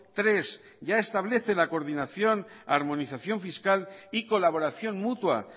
tres ya establece la coordinación armonización fiscal y colaboración mutua